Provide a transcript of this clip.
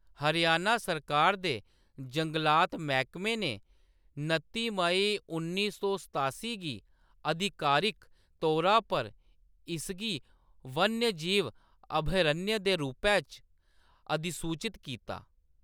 हरियाणा सरकारा दे जंगलात मैह्‌‌‌कमे ने नत्ती मेई उन्नी सौ सतासी गी आधिकारिक तौरा पर इसगी वन्यजीव अभयारण्य दे रूपै च अधिसूचत कीता।